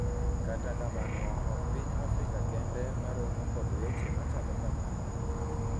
kata kamano ok piny Afrika kende ma romo kod weche machalo kamano